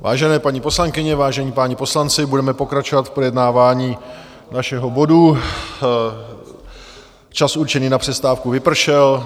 Vážené paní poslankyně, vážení páni poslanci, budeme pokračovat v projednávání našeho bodu, čas určený na přestávku vypršel.